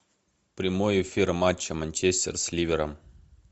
прямой эфир матча манчестер с ливером